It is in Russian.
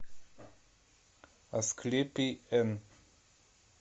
асклепий н